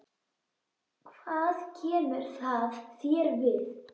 Hvað kemur það þér við?